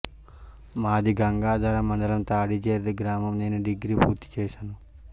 మాది గంగాధర మండలం తాడి జెర్రీ గ్రామం నేను డిగ్రీ పూర్తి చేశాను